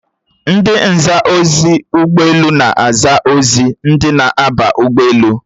Ndi nza ozi ọdụ ụgbọelu a na-aza ozi ndị na-aba ụgbọelu?